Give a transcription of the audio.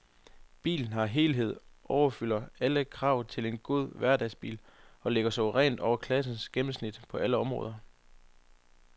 Bilen som helhed opfylder alle krav til en god hverdagsbil og ligger suverænt over klassens gennemsnit på alle områder.